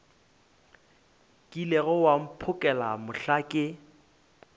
kilego wa mphokela mohla ke